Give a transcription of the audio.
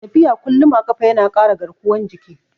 Tafiya kullum a ƙafa ya na ƙara garkuwan jiki